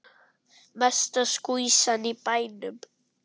Mesta skvísan í bænum.